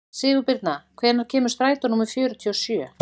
Sigurbirna, hvenær kemur strætó númer fjörutíu og sjö?